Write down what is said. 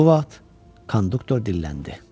Bu vaxt konduktor dilləndi.